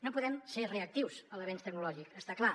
no podem ser reactius a l’avenç tecnològic està clar